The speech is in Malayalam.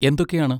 എന്തൊക്കെയാണ്?